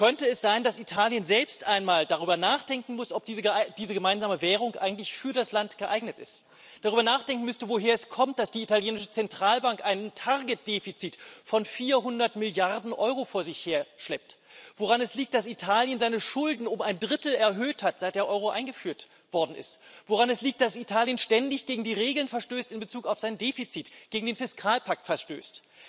Könnte es sein, dass Italien selbst einmal darüber nachdenken muss, ob diese gemeinsame Währung eigentlich für das Land geeignet ist, darüber nachdenken müsste, woher es kommt, dass die italienische Zentralbank ein Target Defizit von 400 Milliarden Euro vor sich herschleppt, woran es liegt, dass Italien seine Schulden um ein Drittel erhöht hat, seit der Euro eingeführt worden ist, woran es liegt, dass Italien ständig gegen die Regeln in Bezug auf sein Defizit verstößt, gegen den Fiskalpakt verstößt?